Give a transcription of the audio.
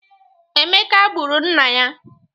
Emeka gburu nna ya